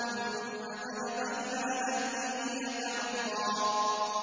ثُمَّ ذَهَبَ إِلَىٰ أَهْلِهِ يَتَمَطَّىٰ